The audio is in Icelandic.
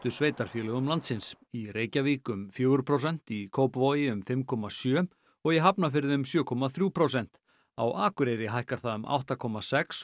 sveitarfélögum landsins í Reykjavík um fjögur prósent í Kópavogi um fimm komma sjö og í Hafnarfirði um sjö komma þrjú prósent á Akureyri hækkar það um átta komma sex